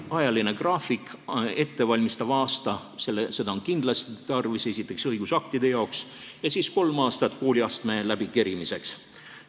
Ajaline graafik: ettevalmistavat aastat on kindlasti tarvis, esiteks õigusaktide jaoks, ja siis on kolm aastat kooliastme läbikerimiseks.